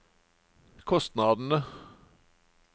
kostnadene